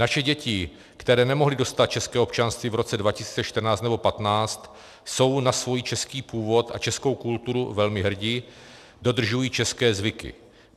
Naše děti, které nemohly dostat české občanství v roce 2014 nebo 2015, jsou na svůj český původ a českou kulturu velmi hrdé, dodržují české zvyky.